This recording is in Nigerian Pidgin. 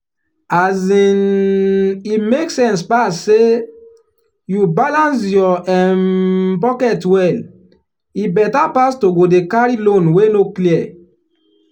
um e make sense pass say you balance your um pocket well e better pass to go dey carry loan wey no clear.